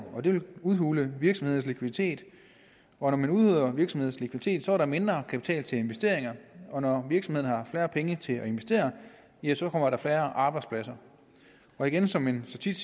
og det vil udhule virksomhedernes likviditet og når man udhuler virksomhedens likviditet er der mindre kapital til investeringer og når virksomheden har færre penge til at investere ja så kommer der færre arbejdspladser og igen som vi så tit